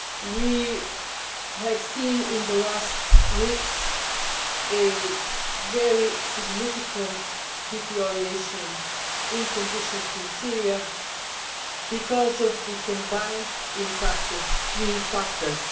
We have seen in the last weeks a very significant deterioration in conditions in Syria, because of the combined impact of three factors.